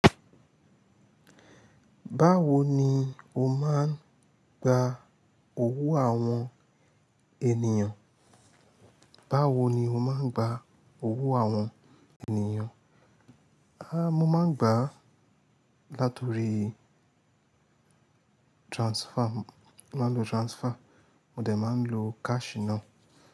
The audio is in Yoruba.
Báwo ni o máa ń gba owó àwọn ènìyàn? Báwo ni o máa ń gba owó àwọn ènìyàn? A, mo máa ń gbà láti ọrí transfer, mo máa ń lo transfer, mo dẹ̀ máa ń lo cash ná.